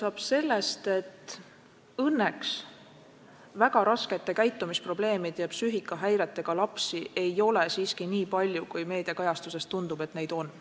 Alustan sellest, et õnneks väga raskete käitumisprobleemide ja psüühikahäiretega lapsi ei ole siiski nii palju, kui meediakajastuse järgi tundub olevat.